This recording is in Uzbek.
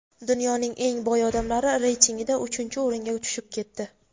dunyoning eng boy odamlari reytingida uchinchi o‘ringa tushib ketdi.